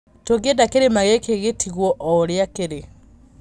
Tũngĩenda kĩrĩma gĩkĩ gĩtigwo o ũrĩa kĩrĩ".